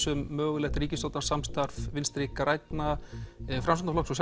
um mögulegt ríkisstjórnarsamstarf Vinstri grænna Sjálfstæðisflokks og